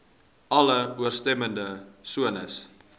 alle ooreenstemmende sones